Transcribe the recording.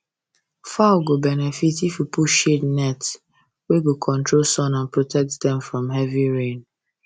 fowl go benefit if you put shade net wey go control sun and protect dem from heavy rain